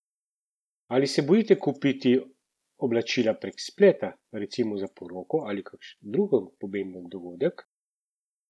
Ali se bojite kupiti oblačila prek spleta, recimo za poroko ali kakšen drug pomemben dogodek?